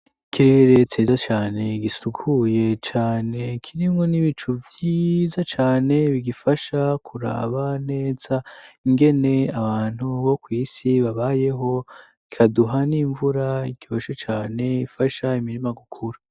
ikirere ciza cyane gisukuye cane kirimwo n'ibicu bwiza cane bigifasha kuraba neza ingene abantu bo kwisi babayeho ikaduha n'imvura iryoshe cane ifasha imirima gukura